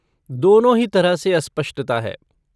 दोनों ही तरह से अस्पष्टता है।